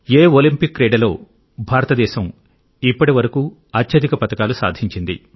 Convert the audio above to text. ఏ Olympic క్రీడలో భారతదేశం ఇప్పటివరకు అత్యధిక పతకాలు సాధించింది